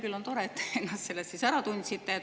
Küll on tore, et te ennast selles siis ära tundsite.